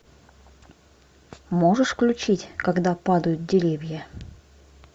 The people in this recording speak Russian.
можешь включить когда падают деревья